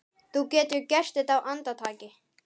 Þú getur gert þetta á andartaki.